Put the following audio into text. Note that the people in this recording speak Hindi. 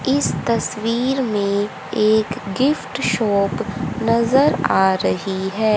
इस तस्वीर में एक गिफ्ट शॉप नजर आ रही है।